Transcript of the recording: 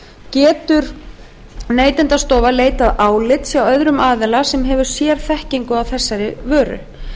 getur neytendastofa leitað álits hjá öðrum aðila sem hefur sérþekkingu á viðkomandi vöru